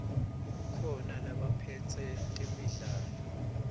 kukhona labaphetse temidlalo